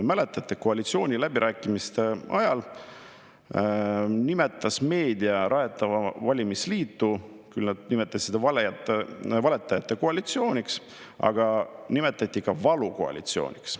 Mäletate, koalitsiooniläbirääkimiste ajal nimetas meedia rajatavat valimisliitu valetajate koalitsiooniks, aga seda nimetati ka valukoalitsiooniks.